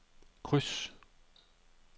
kryds